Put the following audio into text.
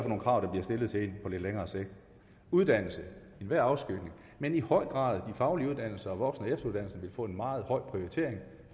nogle krav der bliver stillet til en på lidt længere sigt uddannelse i enhver afskygning men i høj grad de faglige uddannelser og voksen og efteruddannelser vil få en meget høj prioritering